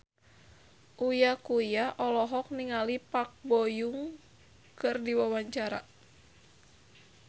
Uya Kuya olohok ningali Park Bo Yung keur diwawancara